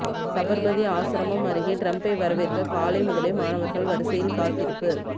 சபர்மதி ஆசிரமம் அருகே டிரம்ப்பை வரவேற்க காலை முதலே மாணவர்கள் வரிசையில் காத்திருப்பு